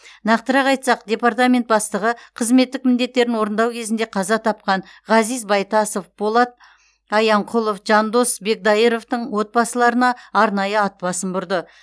нақтырақ айтсақ департамент бастығы қызметтік міндеттерін орындау кезінде қаза тапқан ғазиз байтасов полат аянқұлов жандос бекдайыровтын отбасыларына арнайы ат басын бұрды